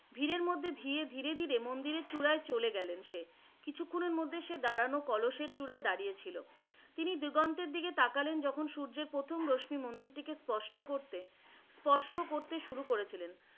ভীরের মধ্যে দিয়ে ধীরে ধীরে মন্দিরের চূড়ায় চলে গেলেন সে, কিছুক্ষনের মধ্যে সে দাঁড়ানো কলসের চূড়ায় সে দাঁড়িয়ে ছিলো । তিনি দিগন্তের দিকে তাকালেন যখন সূর্যের প্রথম রশ্মি মন্দিরটিকে স্পষ্ট করতে, স্পর্শ করতে শুরু করেছিলেন।